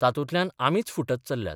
तातूंतल्यान आमीच फुटत चल्ल्यात.